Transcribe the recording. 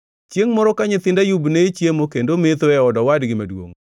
Chiengʼ moro ka nyithind Ayub ne chiemo kendo metho e od owadgi maduongʼ,